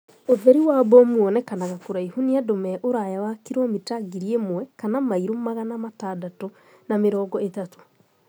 ũtheri wa bomu wonekanaga kuraihu ni andu me uraya wa kilomita ngiri ĩmwe kana mailo magana atandatu na mĩrongo ithatu